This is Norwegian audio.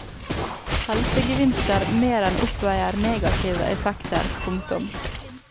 Helsegevinster mer enn oppveier negative effekter. punktum